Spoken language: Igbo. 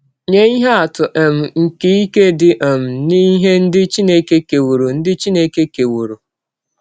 Nye ihe atụ um nke ike dị um n’ihe ndị Chineke kewọrọ ndị Chineke kewọrọ .:-